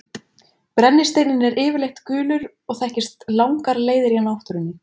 Brennisteinninn er yfirleitt gulur og þekkist langar leiðir í náttúrunni.